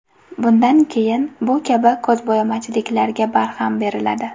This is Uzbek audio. Bundan keyin bu kabi ko‘zbo‘yamachiliklarga barham beriladi.